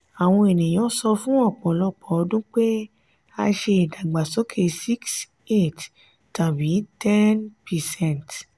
àwọn ènìyàn sọ fún ọpọlọpọ ọdun pé a ṣe ìdàgbàsókè six eight tàbí ten percent.